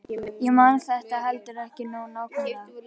Ég man þetta heldur ekki nógu nákvæmlega.